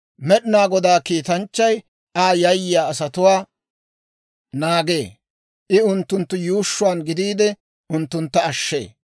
Med'inaa Godaa kiitanchchay Aa yayyiyaa asatuwaa naagee; I unttunttu yuushshuwaan gidiide, unttuntta ashshee.